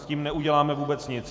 S tím neuděláme vůbec nic.